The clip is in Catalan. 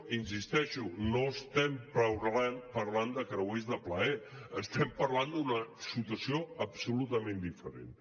i hi insisteixo no estem parlant de creuers de plaer estem parlant d’una situació absolutament diferent